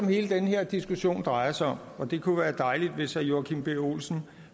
hele den her diskussion drejer sig om og det kunne være dejligt hvis herre joachim b olsen